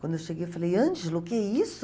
Quando eu cheguei, eu falei, Ângelo, o que é isso?